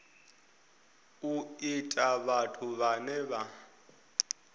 u ta vhathu vhane vha